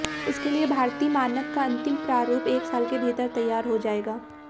इसके लिए भारतीय मानक का अंतिम प्रारूप एक साल के भीतर तैयार हो जाएगा